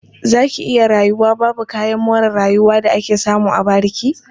Za ki iya rayuwa babu kayan more rayuwa da ake samu a bariki?